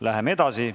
Läheme edasi.